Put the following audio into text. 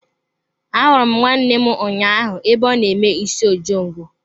Ahụrụ m nne m ụnyaahụ ebe ọ na-eme isi ojongo.